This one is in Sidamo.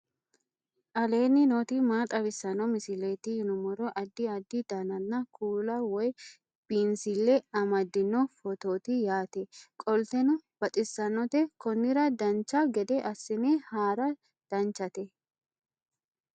aleenni nooti maa xawisanno misileeti yinummoro addi addi dananna kuula woy biinsille amaddino footooti yaate qoltenno baxissannote konnira dancha gede assine haara danchate